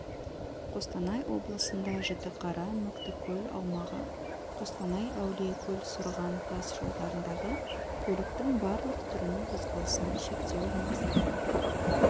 қостанай облысында жітіқара мүктікөл аумағы қостанай әулиекөл сұрған тас жолдарындағы көліктің барлық түрінің қозғалысына шектеу енгізілді